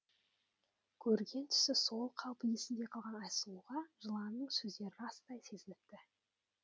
көрген түсі сол қалпы есінде қалған айсұлуға жыланның сөздері растай сезініпті